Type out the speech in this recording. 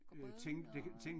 Grød og?